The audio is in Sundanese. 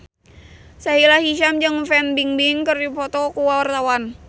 Sahila Hisyam jeung Fan Bingbing keur dipoto ku wartawan